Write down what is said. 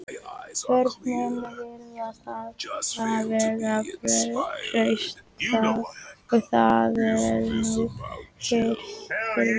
Börnin virðast alla vega hraust og það er nú fyrir mestu